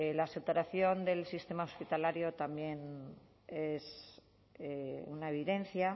la saturación del sistema hospitalario también es una evidencia